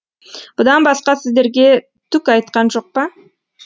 бұдан басқа сіздерге түк айтқан жоқ па